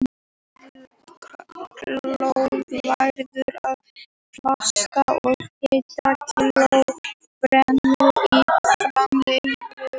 Annað kílóið verður að plasti og hitt kílóið brennur í framleiðsluferlinu.